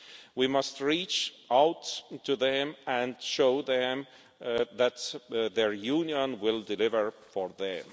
We must reach out to them and show them that their Union will deliver for them.